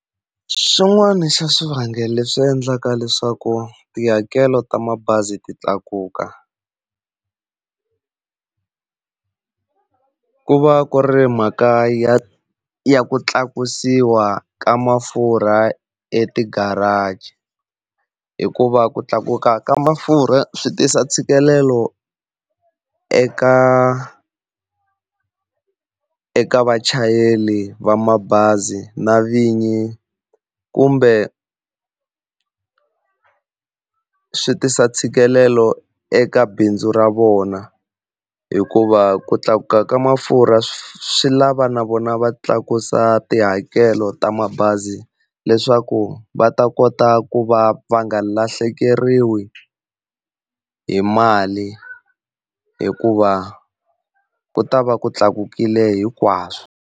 Xin'wana xa swivangelo leswi endlaka leswaku tihakelo ta mabazi ti tlakuka ku va ku ri mhaka ya ya ku tlakusiwa ka mafurha etigaraji. Hikuva ku tlakuka ka mafurha swi tisa ntshikelelo eka eka vachayeri va mabazi na vinyi, kumbe swi tisa ntshikelelo eka bindzu ra vona hikuva ku tlakuka ka mafurha swi lava na vona va tlakusa tihakelo ta mabazi leswaku va ta kota ku va va nga lahlekeriwi hi mali hikuva ku ta va ku tlakukile hinkwaswo.